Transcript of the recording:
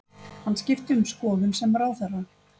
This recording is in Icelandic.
Hann skipti um skoðun sem ráðherra